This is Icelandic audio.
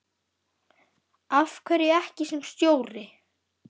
Af hverju ekki sem stjóri?